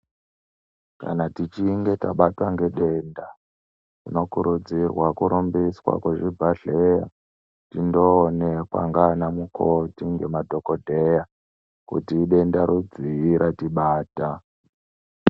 Kana tichinge tabatwa ngedenda tinokurudzirwa kurumbiswa kuzvibhedhlera tindoonekwa ngana mukoti nemadhokodheya kuti idenda rudzii ratibata.